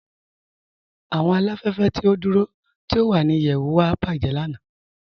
Awọn aláfẹ̀fẹ̀ ti o dúró tí o wà ní ìyẹ̀wù wa bajẹ̀ lànà.